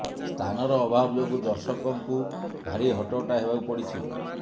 ସ୍ଥାନର ଅଭାବ ଯୋଗୁଁ ଦର୍ଶକଙ୍କୁ ଭାରି ହଟହଟା ହେବାକୁ ପଡ଼ିଛି